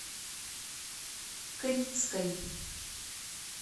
крицкой